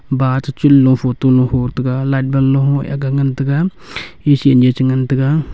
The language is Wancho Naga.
va chi chun low photo low ho taiga light bulb low a aak ga ngan taiga ngan taiga.